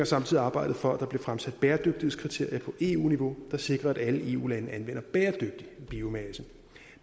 samtidig arbejdet for at der bliver fremsat bæredygtighedskriterier på eu niveau der sikrer at alle eu lande anvender bæredygtig biomasse